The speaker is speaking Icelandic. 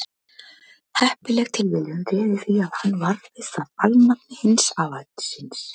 heppileg tilviljun réði því að hann varð við það alnafni hins afa síns